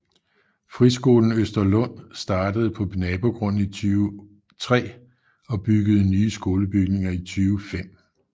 Friskolen Østerlund startede på nabogrunden i 2003 og byggede nye skolebygninger i 2005